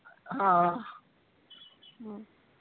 ਹਾਂ .